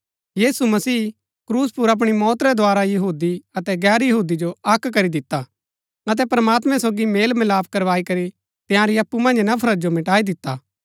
यीशु मसीह क्रूस पुर अपणी मौत रै द्धारा यहूदी अतै गैर यहूदी जो अक्क करी दिता अतै प्रमात्मैं सोगी मेलमिलाप करवाई करी तंयारी अप्पु मन्ज नफरत जो मिटाई दिता